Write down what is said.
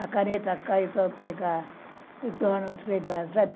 A caneta cai, eu estou a pegar